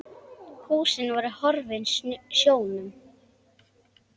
Húsin voru horfin sjónum.